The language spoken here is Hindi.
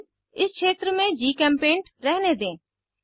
थीम इस क्षेत्र में जीचेम्पेंट रहने दें